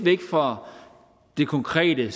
væk fra det konkrete